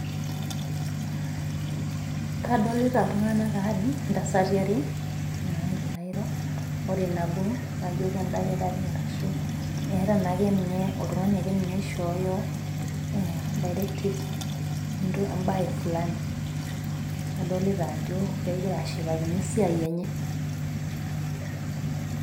Kadolita oltungani aree ,ntasati are nagira airo ore nabo naajo endakitari Ashu etaa akeninye oltungani akeninye oshoo (directives) ebaye (Fulani)adolita ajo egira ashipakino esiai enye